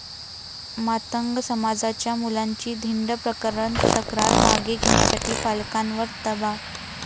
मातंग समाजाच्या मुलांची धिंड प्रकरण, तक्रार मागे घेण्यासाठी पालकांवर दबाव?